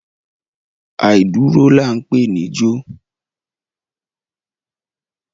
Àìdúró là ń pè níjó.